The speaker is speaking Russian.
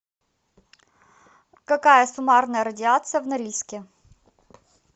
какая суммарная радиация в норильске